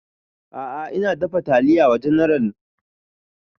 A'a ina dafa taliya wa general